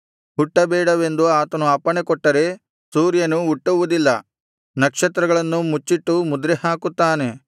ಹುಟ್ಟಬೇಡವೆಂದು ಆತನು ಅಪ್ಪಣೆ ಕೊಟ್ಟರೆ ಸೂರ್ಯನು ಹುಟ್ಟುವುದಿಲ್ಲ ನಕ್ಷತ್ರಗಳನ್ನು ಮುಚ್ಚಿಟ್ಟು ಮುದ್ರೆಹಾಕುತ್ತಾನೆ